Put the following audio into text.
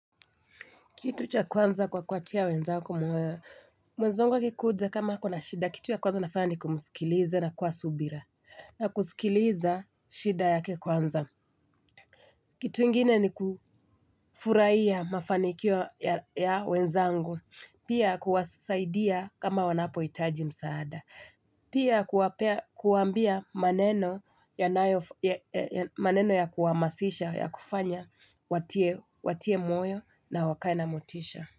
Kitu cha kwanza kwa kuwatia wenzangu moyo, mwenzangu akikuja kama akona shida, kitu ya kwanza nafanya ni kumsikiliza na kuwa na subira. Na kusikiliza shida yake kwanza. Kitu ingine ni kufurahia mafanikio ya wenzangu, pia kuwasaidia kama wanapohitaji msaada. Pia kuwaambia maneno ya kuhamasisha ya kufanya watie moyo na wakae na motisha.